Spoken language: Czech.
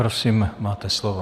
Prosím, máte slovo.